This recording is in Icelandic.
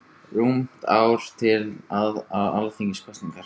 Rúmt ár er til Alþingiskosninga.